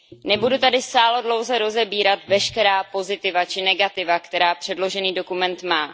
Nebudu tady sáhodlouze rozebírat veškerá pozitiva či negativa, která předložený dokument má.